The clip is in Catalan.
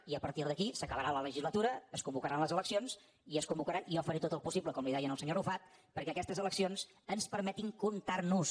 i a partir d’aquí s’acabarà la legislatura es convocaran les eleccions i es convocaran i jo faré tot el possible com li deia al senyor arrufat perquè aquestes eleccions ens permetin comptar nos